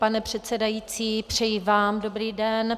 Pane předsedající, přeji vám dobrý den.